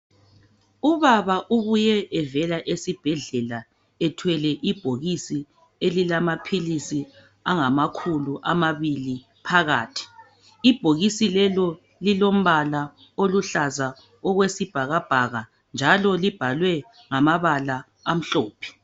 Ubaba ubuye evela esibhedlela ethwele ibhokisi elilamaphilisi angamakhulu amabili phakathi ibhokisi lelo lilombala oluhlaza okweaibhakabhaka njalo libhalwe ngamabala amhlophe